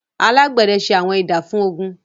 alagbẹdẹ se Awọn Idà fun ogun.